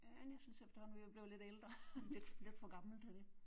Ja næsten så efterhånden vi er jo blevet lidt ældre lidt lidt for gamle til det